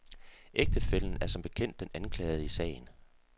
Ægtefællen er som bekendt den anklagede i sagen.